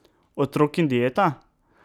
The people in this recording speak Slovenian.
Otrok in dieta?